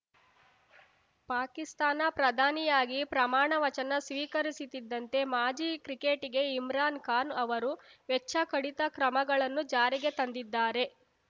ಪಾಕಿಸ್ತಾನ ಪ್ರಧಾನಿಯಾಗಿ ಪ್ರಮಾಣವಚನ ಸ್ವೀಕರಿಸುತ್ತಿದ್ದಂತೆ ಮಾಜಿ ಕ್ರಿಕೆಟಿಗೆ ಇಮ್ರಾನ್‌ ಖಾನ್‌ ಅವರು ವೆಚ್ಚ ಕಡಿತ ಕ್ರಮಗಳನ್ನು ಜಾರಿಗೆ ತಂದಿದ್ದಾರೆ